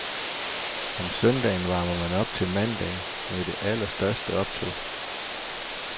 Om søndagen varmer man op til mandagen med det allerstørste optog.